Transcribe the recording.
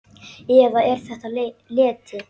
Eða er þetta leti?